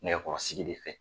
Nɛgɛkɔrɔsigi de fɛ.